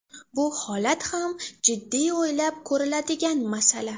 Bu holat ham jiddiy o‘ylab ko‘riladigan masala.